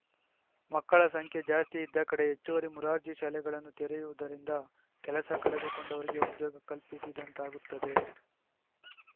ಮಕ್ಕಳ ಸಂಖ್ಯೆ ಜಾಸ್ತಿ ಇದ್ದ ಕಡೆ ಹೆಚ್ಚುವರಿ ಮೊರಾರ್ಜಿ ಶಾಲೆಗಳನ್ನು ತೆರೆಯುವುದರಿಂದ ಕೆಲಸ ಕಳೆದುಕೊಂಡವರಿಗೆ ಉದ್ಯೋಗ ಕಲ್ಪಿಸಿದಂತಾಗುತ್ತದೆ